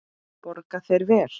Borga þeir vel?